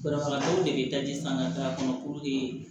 Banabagatɔw de bɛ daji san ka taa a kɔnɔ